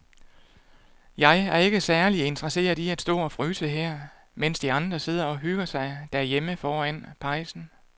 Jeg er ikke særlig interesseret i at stå og fryse her, mens de andre sidder og hygger sig derhjemme foran pejsen.